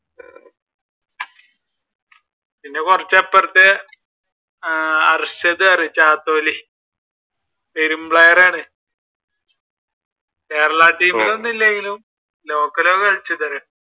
പിന്നെ കുറച്ചു അപ്പുറത്ത് അർഷദ് player ആണ്. കേരള ടീമിൽ ഒന്നുമില്ലെങ്കിലും